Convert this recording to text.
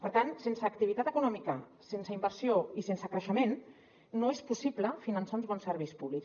per tant sense activitat econòmica sense inversió i sense creixement no és possible finançar uns bons serveis públics